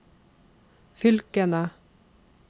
fylkene